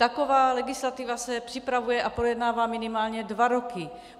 Taková legislativa se připravuje a projednává minimálně dva roky.